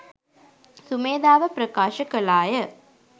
සුමේධාව ප්‍රකාශ කළාය